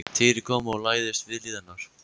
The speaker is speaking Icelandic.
Týri kom og lagðist við hlið hennar.